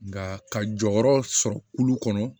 Nka ka jɔyɔrɔ sɔrɔ kulu kɔnɔ